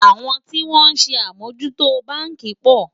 àwọn tí wón sé amò jù tó bánkì pò